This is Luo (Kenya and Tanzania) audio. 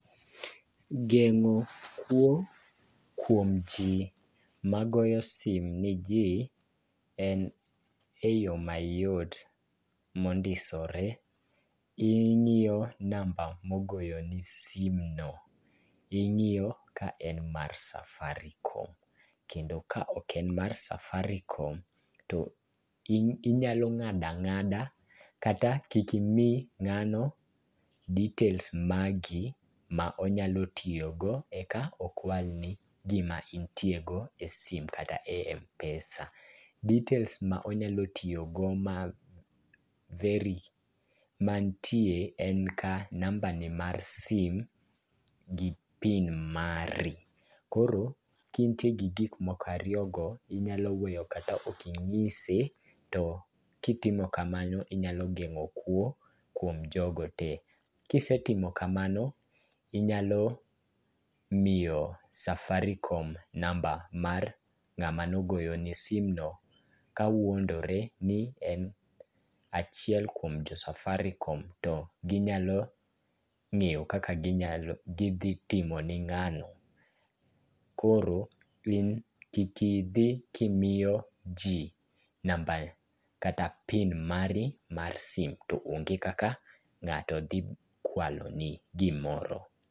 Geng'o kwo kuom ji ma goyo sim ne ji, en eyo mayot mondisore. Ing'iyo namba mogoyo ni simu no. Ing'iyo ka en mar Safaricom. Kendo ka ok en mar Safaricom, to inyalo ng'ado ang'ada kata kik imii ng'ano details magi ma onyalo tiyo go e ka okwal ni gima intie go e sim kata e Mpesa. Details ma onyalo tiyo go ma very mantie en ka namba ne mar sim, gi PIN mari. Koro kaintie gi gik moko ariyo go, inyalo weyo kata ok inyise. To kitimo kamano, inyalo geng'o kwo kuom jogo te. Kisetimo kamano, inyalo miyo safaricom namba mar ng'ama nogoyo ni simu no kawuondore ni en achiel kuom jo Safaricom to ginyalo ng'eyo kaka ginyalo, gidhi timo ne ng'ano. Koro in kik idhi kimiyo ji namba kata pin mari mar sim. To onge kaka ng'ato dhi kwalo ni gimoro.